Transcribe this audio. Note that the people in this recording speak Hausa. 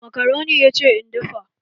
Makaroni ya ce in dafa